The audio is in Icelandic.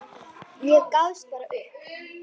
Ég gafst bara upp.